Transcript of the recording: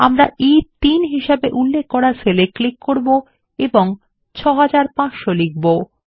আমরা ই3 হিসেবে উল্লেখ করা সেল এ ক্লিক করব এবং 6500 লিখব